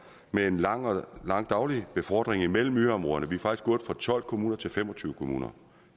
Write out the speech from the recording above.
med en lang daglig befordring mellem ø områderne vi er faktisk gået fra tolv kommuner til fem og tyve kommuner